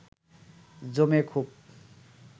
জমে খুব